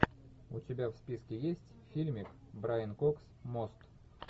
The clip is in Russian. у тебя в списке есть фильмик брайан кокс мост